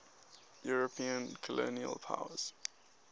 european colonial powers